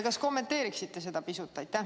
Kas kommenteeriksite seda pisut?